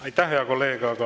Aitäh, hea kolleeg!